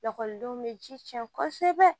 Lakɔlidenw bɛ ji cɛn kosɛbɛ